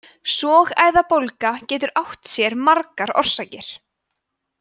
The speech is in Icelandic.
sogæðabólga getur átt sér margar orsakir